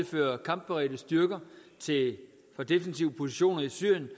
føre kampberedte styrker fra defensive positioner i syrien